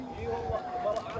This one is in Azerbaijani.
Eyvallah!